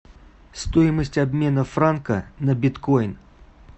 стоимость обмена франка на биткоин